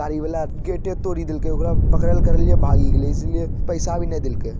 गाडी वला गेटे तोडी देलकैए ओकरा पकड़लकारीय भागे गेलै इसिलए पैसा भी नहीं देलके ।